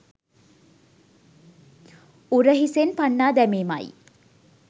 උරහිසෙන් පන්නා දැමීමයි.